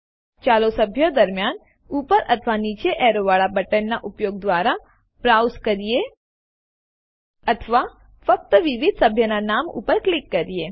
ચાલો સભ્યો દરમ્યાન ઉપર અથવા નીચે એરો વાળું બટનનાં ઉપયોગ દ્વારા બ્રાઉસ કરીએ અથવા ફક્ત વિવિધ સભ્યનાં નામો ઉપર ક્લિક કરીને